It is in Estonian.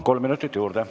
Kolm minutit juurde.